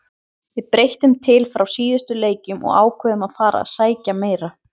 Við breyttum til frá síðustu leikjum og ákváðum að fara að sækja meira.